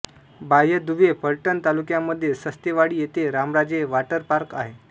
बाह्य दुवे फलटण तालुक्यामध्ये सस्तेवाडी येथे रामराजे वाटरपार्क आहे